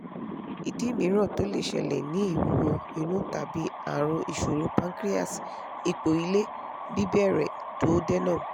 idi miiran to le ṣẹlẹ ni ìwúwo inu tabi àrùn isoro pancreas ipo ile-bibere duodenum